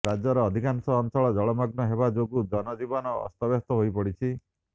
ରାଜ୍ୟର ଅଧିକାଂଶ ଅଞ୍ଚଳ ଜଳମଗ୍ନ ହେବା ଯୋଗୁ ଜନଜୀବନ ଅସ୍ତବ୍ୟସ୍ତ ହୋଇପଡ଼ିଛି